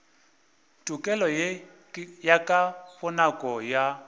tokelo ye ka bonako ya